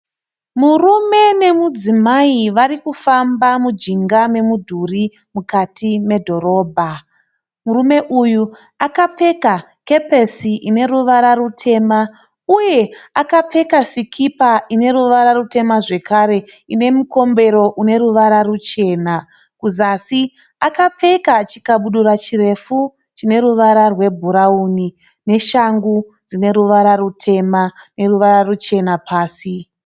Murume nemudzimai varikufamba mijinga memidhuri mukati medhorobha. Murume uyu akapfeka kepesi ine ruvara rutema uye akapfeka sikipa ine ruvara rutema zvekare nemukombero uneruvara ruchena. Kuzasi akapfeka chikabudura chineruvara rwebhurauni neshangu dzineruvara rutema neruvara ruchena pasi.